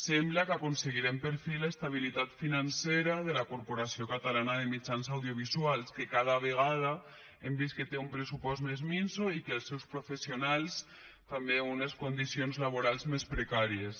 sembla que aconseguirem per fi l’estabilitat financera de la corporació catalana de mitjans audiovisuals que cada vegada hem vist que té un pressupost més minso i els seus professionals també unes condicions laborals més precàries